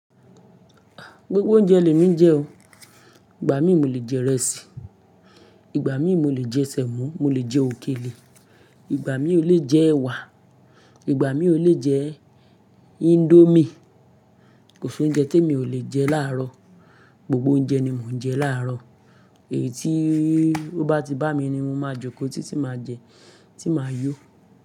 Gbogbo oúnjẹ lè mí jẹ o. Ìgbà mí mo le jẹ ìrẹsì, Ìgbà mí mo le jẹ Sẹ́mó, mo le jẹ òkèlè, Ìgbà mí o le jẹ ẹwà, Ìgbà mí o le jẹ índómì. Kò sí oúnjẹ tí mi ò lè jẹ láàárọ̀. Gbogbo oúnjẹ ni mò ń jẹ láàárọ̀. Èyí tí ó bá ti bá mi ni mo máa jókòó tí tí máa jẹ, tí máa yó.